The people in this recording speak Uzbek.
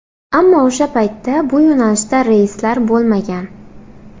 Ammo o‘sha paytda bu yo‘nalishda reyslar bo‘lmagan.